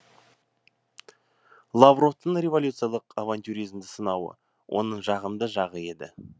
лавровтың революциялық авантюризмді сынауы оның жағымды жағы еді